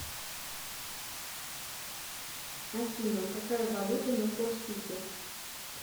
афина какая валюта на корсике